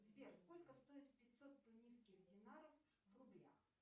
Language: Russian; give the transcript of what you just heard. сбер сколько стоит пятьсот тунисских динаров в рублях